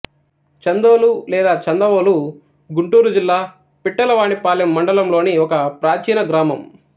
చందోలు లేదా చందవోలు గుంటూరుజిల్లా పిట్టలవానిపాలెం మండలంలోని ఒక ప్రాచీన గ్రామం